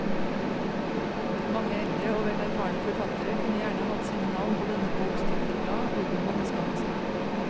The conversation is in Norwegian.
Mange eldre og vel erfarne forfattere kunne gjerne hatt sine navn på denne boks titelblad uten å måtte skamme seg.